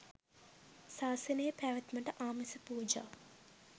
සාසනයේ පැවැත්මට ආමිස පූජා